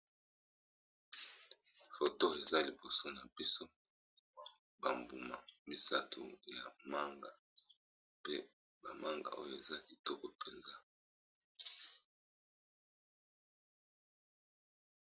Poto eza liboso na biso bambuma misato ya manga pe bamanga oyo eza kitoko mpenza.